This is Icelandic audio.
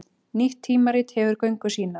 Nýtt tímarit hefur göngu sína